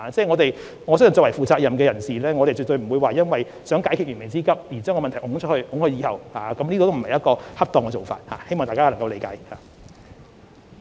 我相信作為負責任的官員，絕對不應為解決燃眉之急而把問題延後解決，這不是恰當的做法，希望大家能夠理解。